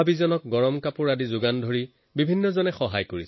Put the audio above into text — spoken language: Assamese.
গৰম কাপোৰ দি তেওঁলোকক সহায় কৰে